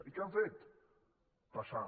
i què han fet passar